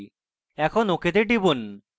এখন ok তে টিপুন